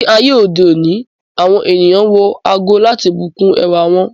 Ni ayé òde òní, àwọn ènìyàn wọ ago láti bùkún ẹwà wọn.